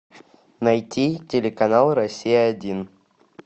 найти телеканал россия один